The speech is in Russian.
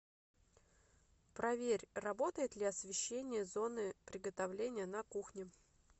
проверь работает ли освещение зоны приготовления на кухне